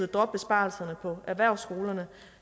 droppe besparelserne på erhvervsskolerne